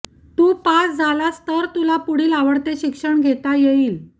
तू pass झालास तर तुला पुढील आवडते शिक्षण घेता येईल